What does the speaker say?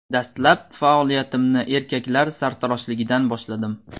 Dastlab faoliyatimni erkaklar sartaroshligidan boshladim.